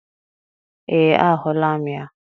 Ee, ahụla m ya.